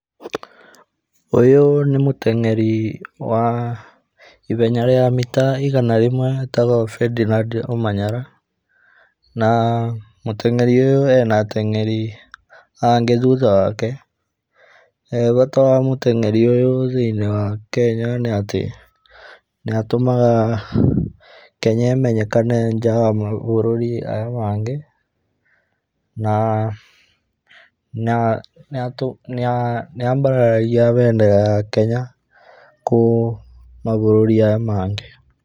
ũyũ nĩ mũteng'eri wa ihenya rĩa mita igana rĩmwe etagwo Ferdinand Omanyala. Na mũteng'eri ũyũ ena ateng'eri angĩ thutha wake. Bata wa mũteng'eri ũyũ thĩiniĩ wa Kenya nĩatĩ nĩatũmaga Kenya imenyekane nja wa mabũrũri maya mangĩ na nĩambararagia bendera ya Kenya kũrĩ mabũrũri maya mangĩ.